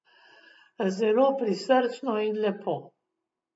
Zelo prisrčno in lepo.